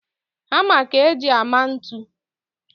Hama ka e ji ama ntu